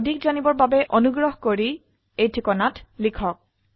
এই বিষয়ে বিস্তাৰিত তথ্যেৰ বাবে contactspoken tutorialorg তে ইমেল কৰক